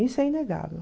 Isso é inegável.